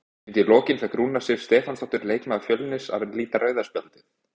Undir lokin fékk Rúna Sif Stefánsdóttir, leikmaður Fjölnis, að líta rauða spjaldið.